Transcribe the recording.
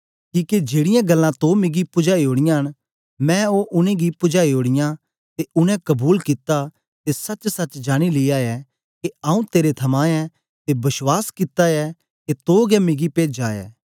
किके जेड़ीयां गल्लां तो मिगी पुजाई ओड़ीयां न मैं ओ उनेंगी पुजाई ओड़ीयां ते उनेंगी कबूल कित्ता ते सचसच जानी लिया ऐ के आऊँ तेरे थमां ऐं ते बश्वास कित्ता ऐ के तो गै मिगी पेजा ऐ